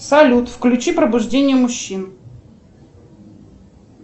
салют включи пробуждение мужчин